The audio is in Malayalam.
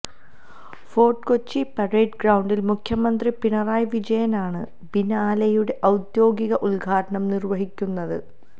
ഫോര്ട്ട് കൊച്ചി പരേഡ് ഗ്രൌണ്ടില് മുഖ്യമന്ത്രി പിണറായി വിജയനാണ് ബിനാലെയുടെ ഔദ്യോഗിക ഉദ്ഘാടനം നിര്വഹിക്കുന്നത്